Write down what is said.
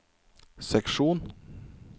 seksjon